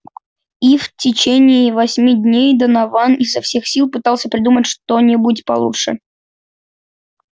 и в течение восьми дней донован изо всех сил пытался придумать что-нибудь получше